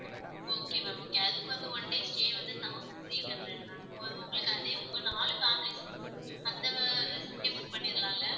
Okay ma'am okay அதுக்கு வந்து one day stay வந்து thousand three hundred ma'am உங்களுக்கு வந்து உங்க நாலு family க்கும் அந்த resort டே book பண்ணிடலாம்ல?